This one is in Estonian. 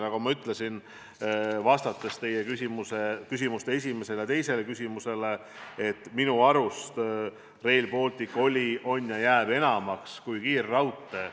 Nagu ma teie esimesele ja teisele küsimusele vastates ütlesin, siis minu arvates Rail Baltic oli, on ja jääb enamaks kui lihtsalt kiirraudtee.